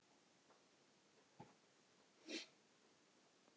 Við höfum því hætt að birta gestum spurningarnar jafnóðum og þær berast.